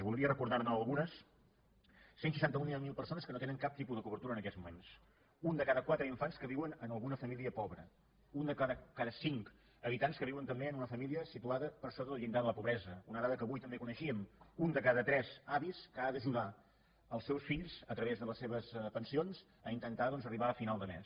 voldria recordar ne algunes cent i seixanta mil persones que no tenen cap tipus de cobertura en aquests moments un de cada quatre infants que viuen en alguna família pobre un de cada cinc habitants que viuen també en una família situada per sota del llindar de la pobresa una dada que avui també coneixíem un de cada tres avis que ha d’ajudar els seus fills a través de les seves pensions a intentar doncs arribar a final de mes